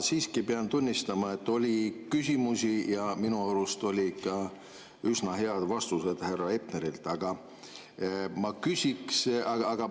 Ma siiski pean tunnistama, et oli küsimusi ja minu arust olid ka üsna head vastused härra Hepnerilt.